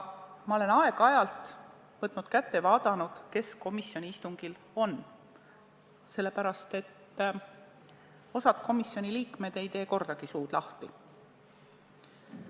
Ma olen aeg-ajalt võtnud kätte ja vaadanud, kes komisjoni istungil on, sellepärast, et osa komisjoni liikmeid ei tee kordagi suud lahti.